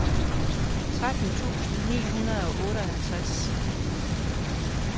tretten tusind ni hundrede og otteoghalvtreds